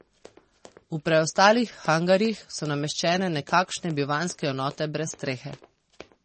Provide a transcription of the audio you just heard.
V preostalih hangarjih so nameščene nekakšne bivanjske enote brez strehe.